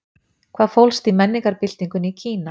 Hvað fólst í menningarbyltingunni í Kína?